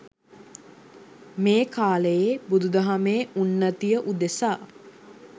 මේ කාලයේ බුදු දහමේ උන්නතිය උදෙසා